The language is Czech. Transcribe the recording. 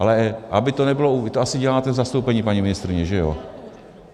Ale aby to nebylo - vy to asi děláte v zastoupení, paní ministryně, že jo?